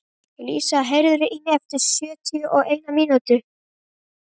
Lísa, heyrðu í mér eftir sjötíu og eina mínútur.